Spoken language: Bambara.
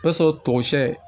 sɔrɔ togo siyɛ